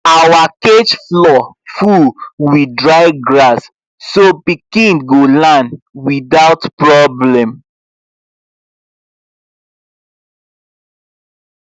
our cage floor full with dry grass so the pikin go land without problem